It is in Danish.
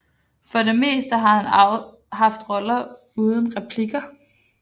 For det meste har han haft roller uden replikker